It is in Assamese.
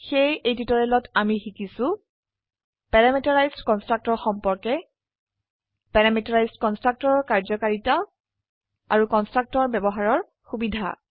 সেয়ে এই টিউটোৰিয়েলত আমি শিকিছো প্যাৰামিটাৰাইজড কন্সট্ৰকটৰ সম্পৰ্কে প্যাৰামিটাৰাইজড কন্সট্ৰকটৰৰ কাৰ্যকাৰিতা আৰু কন্সট্ৰকটৰ ব্যবহাৰৰ সুবিধা